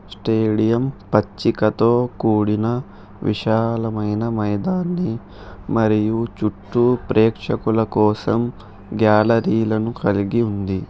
Stadium పచ్చికతో కూడిన విశాలమైన మైదానం మరియు చుట్టూ ప్రేక్షకుల కోసం గ్యాలరీలను కలిగి ఉంది.